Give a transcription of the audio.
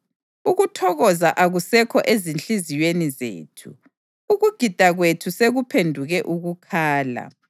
Ukuthokoza akusekho ezinhliziyweni zethu; ukugida kwethu sekuphenduke ukukhala.